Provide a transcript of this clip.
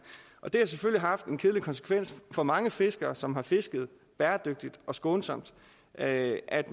det har selvfølgelig haft den kedelige konsekvens for mange fiskere som har fisket bæredygtigt og skånsomt at at